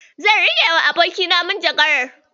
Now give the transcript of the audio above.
Zan riƙewa abokina manjagarar.